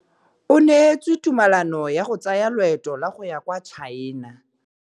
O neetswe tumalanô ya go tsaya loetô la go ya kwa China.